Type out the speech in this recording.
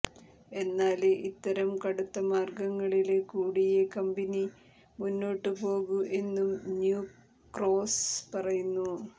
എന്നാല് ഇത്തരം കടുത്ത മാര്ഗ്ഗങ്ങളില് കൂടിയേ കമ്പനി മുന്നോട്ട് പോകൂ എന്നും ന്യൂ ക്രോസ്സ് പറയുന്നു